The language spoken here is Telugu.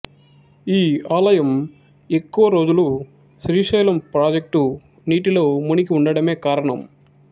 ఈ ఆలయం ఎక్కువ రోజులు శ్రీశైలం ప్రాజెక్టు నీటిలో మునిగివుండడమే కారణం